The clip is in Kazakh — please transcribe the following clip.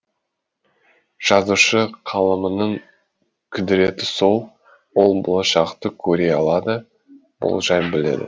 жазушы қаламының құдіреті сол ол болашақты көре алады болжай біледі